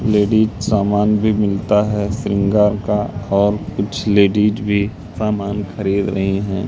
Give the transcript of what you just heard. Ladies सामान भी मिलता है श्रृंगार का और कुछ लेडिस भी सामान खरीद रही हैं।